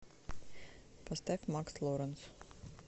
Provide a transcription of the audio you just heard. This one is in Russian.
поставь макс лоренс